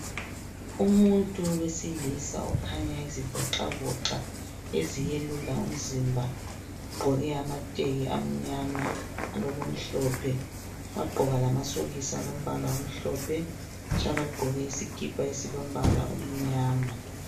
Umuntu wesilisa okhanya ezivoxavoxa eziyelula umzimba ugqoke amateki amnyama alokumhlophe wagqoka lamasokisi alombala omhlophe njalo ugqoke isikipa esilombala omnyama